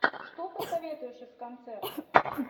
что посоветуешь из концертов